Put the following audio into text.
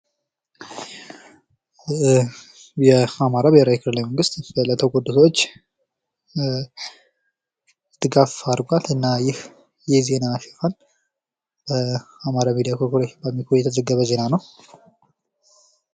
የአማራ ብሔራዊ ክልላዊ መንግስት ለተጎዱ ሰዎች ድጋፍ አድርጓል። እና ይህ የዜና ርእስ ሲሆን በአማራ ሚዲያ ኮርፖሬሽን (አሚኮ) የተዘገበ ዜና ነው።